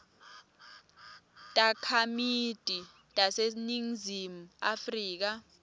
takhamiti taseningizimu afrika